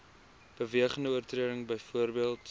bewegende oortreding byvoorbeeld